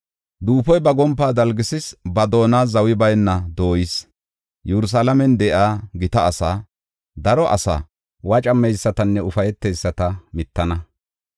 Duufoy ba gompaa dalgisis; ba doona zawi bayna dooyis. Yerusalaamen de7iya gita asaa, daro asaa, wocameysatanne ufayteyisata mittana.